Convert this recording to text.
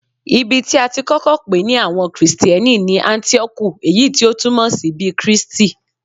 Ibi tí a ti kọ́kọ́ pè ní àwọn Kristẹni ni Áńtíókù, èyí tí o túmọ̀ sí bí Kristi.